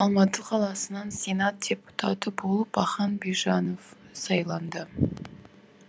алматы қаласынан сенат депутаты болып ахан бижанов сайланды